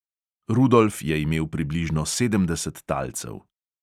Rudolf je imel približno sedemdeset talcev.